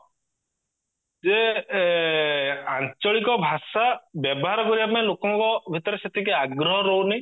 ଯେ ଆଞ୍ଚଳିକ ଭାଷା ବ୍ୟବହାର କରିବା ପାଇଁ ଲୋକଙ୍କ ଭିଆତ୍ରେ ସେତିକି ଆଗ୍ରହ ରହୁନି